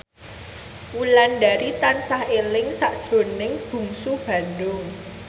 Wulandari tansah eling sakjroning Bungsu Bandung